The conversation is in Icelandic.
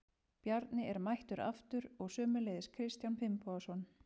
Bjarni er mættur aftur og sömuleiðis Kristján Finnbogason.